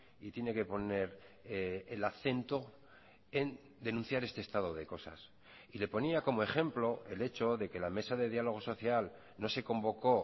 y tiene que poner el acento en denunciar este estado de cosas y le ponía como ejemplo el hecho de que la mesa de diálogo social no se convocó